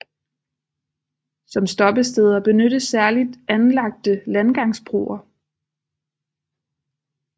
Som stoppesteder benyttes særligt anlagte landgangsbroer